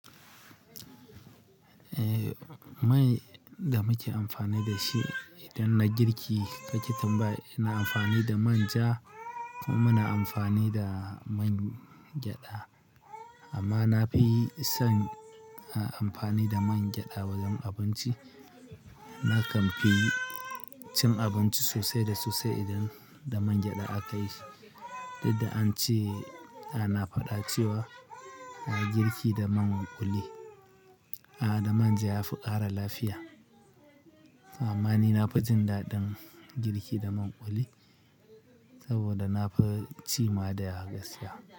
Eh, mai da muke amfani da shi idan na girki, ka ke tambaya. Ina amfani da manja kuma muna amfani da mangyaɗa. Amma na fi son amfani da mangyaɗa wajen abinci. Na kamfi cin abinci sosai da sosai idan da mangyaɗa aka yi. Duk da an ce ana faɗa cewa girki da man kuli, ah, da manja ya fi ƙara lafiya. Amma ni na fi jin daɗin girki da man kuli saboda na fi ci ma da yawa gaskiya.